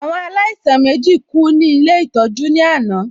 Àwọn alaisan mèjí kú ní Ilé ìtọ́jú ní àná